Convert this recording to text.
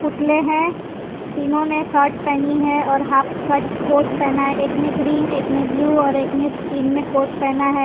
पुतले हैं तीनों ने शर्ट पहनी है और हाफ कट कोट पहना है एकने ग्रीन एकने ब्लू और एकने स्किन में कोट पहना है।